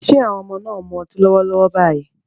Ṣé àwọn ọmọ náà ń mu ọtí lọ́wọ́lọ́wọ́ báyìí?